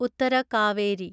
Uttara Kaveri